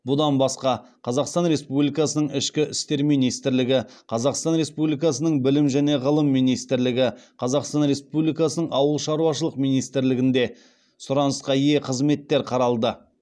бұдан басқа қазақстан республикасының ішкі істер министрлігі қазақстан республикасының білім және ғылым министрлігі қазақстан республикасының ауыл шаруашылық министрлігінде сұранысқа ие қызметтер қаралды